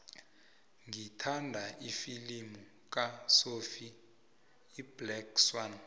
ngithanda ifilimu kasophie iblack swann